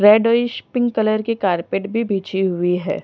Reddish pink colour की carpet भी बिछी हुई है।